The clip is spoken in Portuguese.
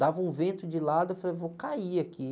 Dava um vento de lado, eu falei, vou cair aqui.